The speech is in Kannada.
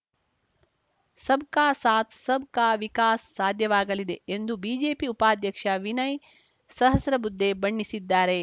ಸಬ್‌ ಕಾ ಸಾಥ್‌ ಸಬ್‌ ಕಾ ವಿಕಾಸ್‌ ಸಾಧ್ಯವಾಗಲಿದೆ ಎಂದು ಬಿಜೆಪಿ ಉಪಾಧ್ಯಕ್ಷ ವಿನಯ್‌ ಸಹಸ್ರಬುದ್ಧೆ ಬಣ್ಣಿಸಿದ್ದಾರೆ